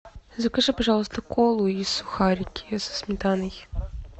закажи пожалуйста колу и сухарики со сметаной